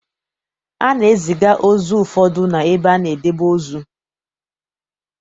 A na-eziga ozu ụfọdụ n'ebe a na-edebe ozu.